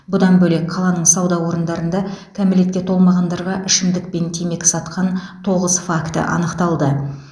бұдан бөлек қаланың сауда орындарында кәмелетке толмағандарға ішімдік мен темекі сатқан тоғыз факті анықталды